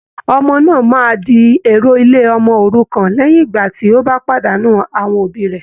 Ọmọ náà máa di èrò ilé ọmọ òrukàn léyìn ìgbà tí ó pàdánù awọn òbí rẹ̀